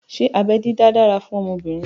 Ṣé abẹ́ dídá dára fún obìnrin?